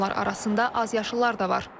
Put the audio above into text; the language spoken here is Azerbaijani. Onlar arasında azyaşlılar da var.